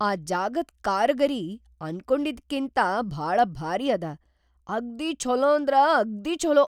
ಈ ಜಾಗದ್‌ ಕಾರಿಗರಿ ಅನ್ಕೊಂಡಿದ್ಕಿಂತಾ ಭಾಳ ಭಾರೀ ಅದ. ಅಗ್ದೀ ಛೊಲೋಂದ್ರ ಅಗ್ದೀ ಛೊಲೋ!